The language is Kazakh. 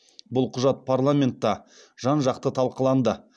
бұл құжат парламентта жан жақты талқыланды